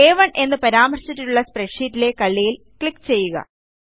അ1 എന്ന് പരാമർശിച്ചിട്ടുള്ള സ്പ്രെഡ്ഷീറ്റിലെ കള്ളിയിൽ ക്ലിക്ക് ചെയ്യുക